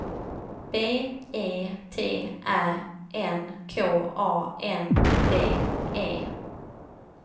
B E T Ä N K A N D E